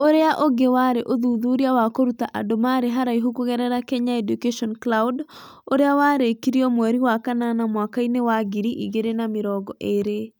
Ũrĩa ũngĩ warĩ ũthuthuria wa kũruta andũ marĩ haraihu kũgerera Kenya Education Cloud, ũrĩa warĩkirio mweri wa kanana mwaka-inĩ wa ngiri igĩrĩ na mĩrongo ĩrĩ.